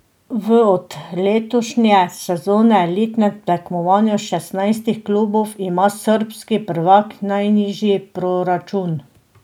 V od letošnje sezone elitnem tekmovanju šestnajstih klubov ima srbski prvak najnižji proračun.